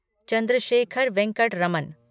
Chandrashekhar Venkat Raman